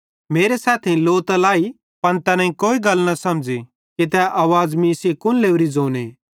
मेरे सैथेइं लौ त लाई पन तैन कोई गल न समझ़ी कि तै आवाज़ मीं सेइं कुन लोरीए ज़ोने